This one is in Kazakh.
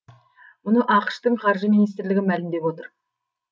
мұны ақш тың қаржы министрлігі мәлімдеп отыр